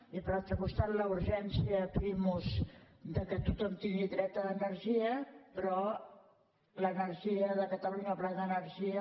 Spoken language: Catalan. i per l’altre costat la urgència primus que tothom tingui dret a energia però l’energia de catalunya el pla d’energia